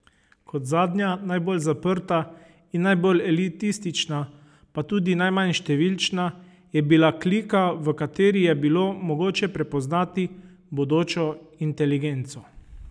Kot zadnja, najbolj zaprta in najbolj elitistična, pa tudi najmanj številčna, je bila klika, v kateri je bilo mogoče prepoznati bodočo inteligenco.